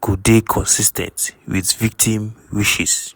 go dey consis ten t wit victim wishes.